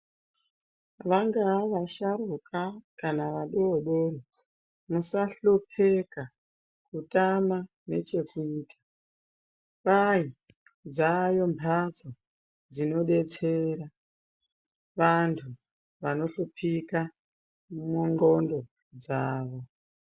Vangava vasharuka kana vadoodori, musahlupika kutama nechekuita. Kwai dzaayo mbatso dzinodetsera vantu vanohlupika mundxondo dzavo.